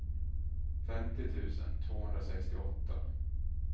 femtio tusen tvåhundrasextioåtta